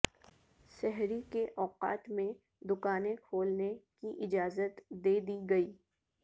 سحری کے اوقات میں دکانیں کھولنے کی اجازت دیدی گئی